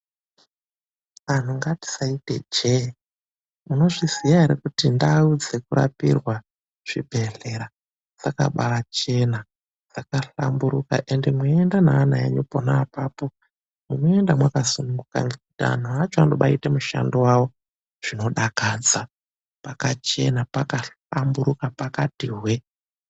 Anhu ngatisaite jee, munozviziya ere kuti ndau dzekurapirwa zvibhedhlera zvakabachena, dzakahlamburuka ende mweinde neana enyu pona apapo munoende mwakasununguka, nekuti anhu acho vanobaite mushando wavo zvinodakadza. Pakachena, pakahlamburuka, pakati hwee.